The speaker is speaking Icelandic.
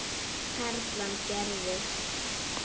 Perlan gerði.